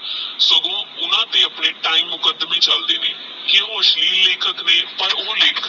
ਸਗੋਂ ਓਹਨਾ ਤੇਹ ਆਪਣੇ time ਮੁਕਦਮੇ ਚਲਦ ਨੇ ਕਿ ਉਹ ਅਸਲੀਲ ਲਿਖਣ ਲਈ ਪਰ ਓਹ ਓਹ ਲੇਖ